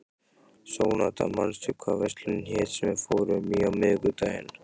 Sónata, manstu hvað verslunin hét sem við fórum í á miðvikudaginn?